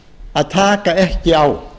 að taka ekki á